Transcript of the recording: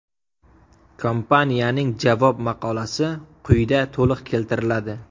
Kompaniyaning javob maqolasi quyida to‘liq keltiriladi.